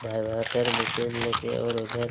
vibrator machine लेके और उधर--